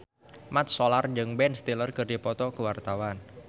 Mat Solar jeung Ben Stiller keur dipoto ku wartawan